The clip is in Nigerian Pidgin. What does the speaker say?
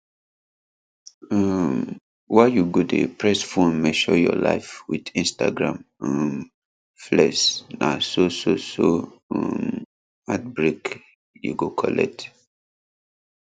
um why you go dey press phone measure your life with instagram um flex na so so so um heartbreak you go collect